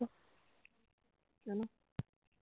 কেন